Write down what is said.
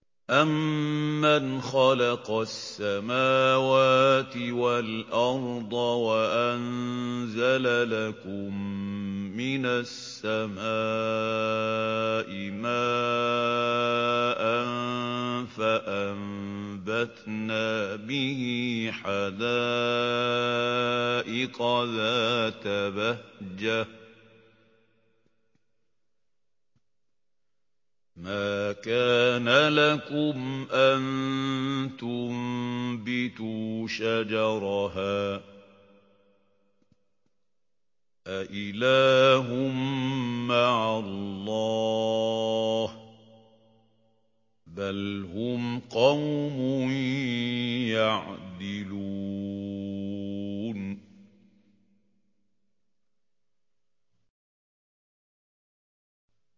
أَمَّنْ خَلَقَ السَّمَاوَاتِ وَالْأَرْضَ وَأَنزَلَ لَكُم مِّنَ السَّمَاءِ مَاءً فَأَنبَتْنَا بِهِ حَدَائِقَ ذَاتَ بَهْجَةٍ مَّا كَانَ لَكُمْ أَن تُنبِتُوا شَجَرَهَا ۗ أَإِلَٰهٌ مَّعَ اللَّهِ ۚ بَلْ هُمْ قَوْمٌ يَعْدِلُونَ